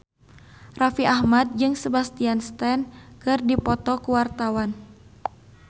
Raffi Ahmad jeung Sebastian Stan keur dipoto ku wartawan